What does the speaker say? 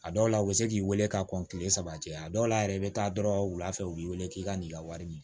A dɔw la u bɛ se k'i wele ka kɔn kile saba cɛ a dɔw la yɛrɛ i bɛ taa dɔrɔn wula fɛ u b'i wele k'i ka n'i ka wari minɛ